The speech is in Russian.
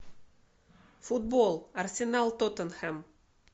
футбол арсенал тоттенхэм